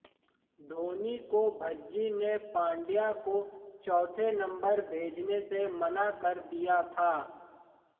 धोनी को भज्जी ने पांड्या को चौथे नंबर भेजने से मना कर दिया था